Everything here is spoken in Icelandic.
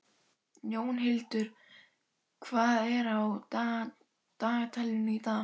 Jónhildur, hvað er á dagatalinu í dag?